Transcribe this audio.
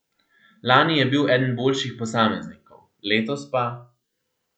Lani je bil eden boljših posameznikov, letos pa ...